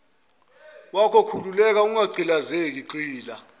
wakhoukhululeke ungagqilazeki gxila